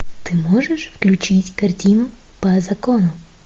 ты можешь включить картину по закону